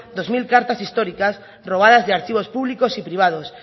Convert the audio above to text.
dos mil cartas históricas robadas de archivos públicos y privados